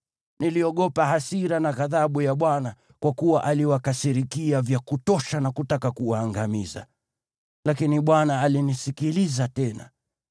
Niliogopa hasira na ghadhabu ya Bwana , kwa kuwa aliwakasirikia vya kutosha na kutaka kuwaangamiza. Lakini Bwana alinisikiliza tena.